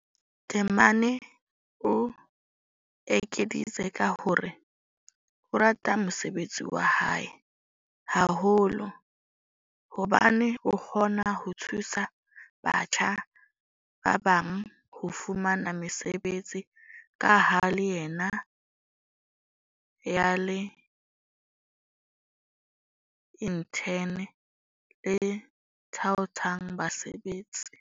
Temane o ekeditse ka hore o rata mosebetsi wa hae, haholo hobane o kgona ho thusa batjha ba bang ho fumana mesebetsi ka ha e le yena ya le inthene le thaothang basebetsi.